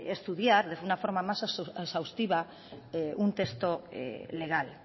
estudiar de una forma más exhaustiva un texto legal